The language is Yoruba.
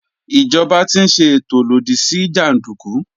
Ìjọba ti ń ṣe ètò lòdì sí jàndùkú.